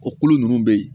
O kolo ninnu bɛ yen